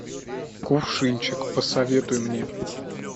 кувшинчик посоветуй мне